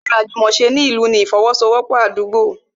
Ará anfaani àjùmòse ni ìlú ni ifowosowopo Àdúgbo